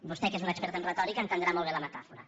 vostè que és un expert en retòrica entendrà molt bé la metàfora